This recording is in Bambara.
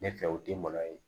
Ne fɛ o den malo ye